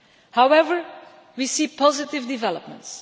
However, we see positive developments.